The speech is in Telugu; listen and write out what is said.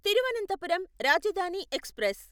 తిరువనంతపురం రాజధాని ఎక్స్ప్రెస్